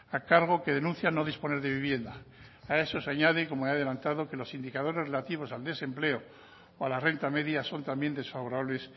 a cargo que denuncian no disponer de vivienda a eso se añade como he adelantado que los indicadores relativos al desempleo o a la renta media son también desfavorables